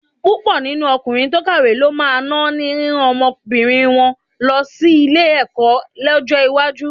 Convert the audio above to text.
Púpọ̀ nínú ọkùnrin tó kàwé ló máa náání rírán ọmọbìnrin wọn lọ sí ilé-ẹ̀kọ́ lọ́jọ́ iwájú.